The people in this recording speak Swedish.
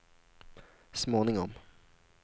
småningom